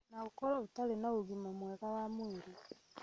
na ũkorwo ũtarĩ na ũgima mwega wa mwĩrĩ